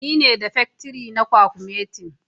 ni ne da paktiri na kwakumetin.